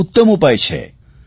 આ ઉત્તમ ઉપાય છે